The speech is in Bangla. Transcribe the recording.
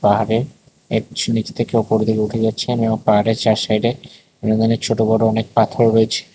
পাহাড়ের নিচ নীচে থেকে ওপর দিকে উঠে যাচ্ছে এবং পাহাড়ের চার সাইড এ ছোট বড় অনেক পাথর রয়েছে।